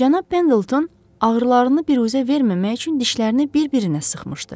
Cənab Pendleton ağrılarını biruzə verməmək üçün dişlərini bir-birinə sıxmışdı.